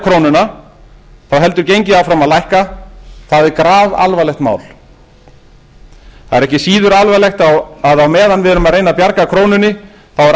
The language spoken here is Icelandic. krónuna þá heldur gengið áfram að lækka það er grafalvarlegt mál það er ekki síður alvarlegt að á meðan við erum að reyna bjarga krónunni þá er